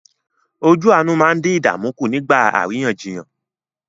Ojú àánú máa ń dín ìdààmú kù nígbà àríyànjiyàn.